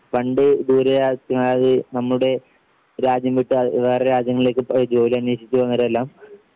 പണ്ട് ദൂരെ ആവശ്യത്തിനായി നമ്മുടെ രാജ്യം വിട്ട് ആ വേറെ രാജ്യങ്ങളിലേക്ക് പ്ര ജോലിയന്യോഷിച്ച് പോകുന്നവരെല്ലാം